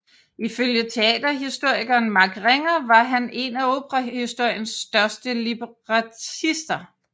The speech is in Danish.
Ifølge teaterhistorikeren Mark Ringer var han en af operahistoriens største librettister